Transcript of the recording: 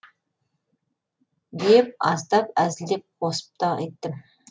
деп аздап әзілмен қосып та айттым